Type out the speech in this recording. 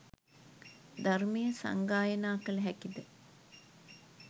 ධර්මය සංගායනා කළ හැකිද?